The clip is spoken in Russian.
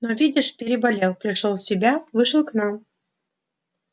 но видишь переболел пришёл в себя вышел к нам